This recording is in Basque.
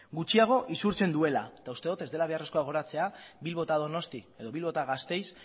gutxiago isurtzen duela eta uste dut ez dela beharrezkoa gogoratzea bilbo eta donosti edo bilbo eta gasteiz